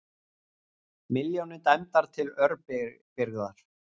Milljónir dæmdar til örbirgðar